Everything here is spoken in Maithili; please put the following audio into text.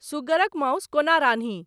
सुगरक माउस कोना रान्ही